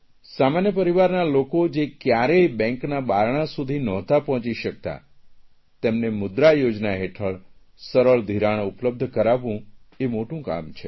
સામાન્ય પરિવારના લોકો જે કયારેય બેંકના બારણાં સુધી નહોતાં પહોંચી શકતાં તેમને મુદ્રા યોજના હેઠળ સરળ ધિરાણ ઉપલબ્ધ કરાવવું એ મોટું કામ છે